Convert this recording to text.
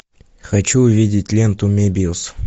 хочу увидеть ленту мебиус